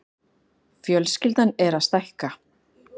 Fjölskyldan er að stækka.